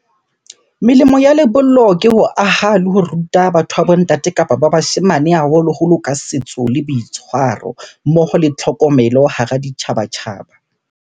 Melemo ya lebollo ke ho aha le ho ruta batho ba bo ntate kapa ba bashemane haholoholo ka setso le boitshwaro. Mmoho le tlhokomelo hara ditjhabatjhaba.